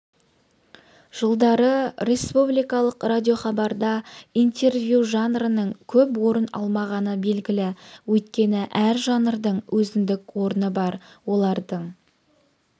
жылдары респубикалық радиохабарда интервью жанрының көп орын алмағаны белгілі өйткені әр жанрдың өзіндік орны бар олардың